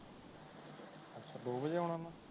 ਅੱਛਾ ਦੋ ਵਜੇ ਆਨਾ ਓਹਨਾ ਨੇ